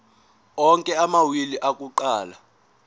onke amawili akuqala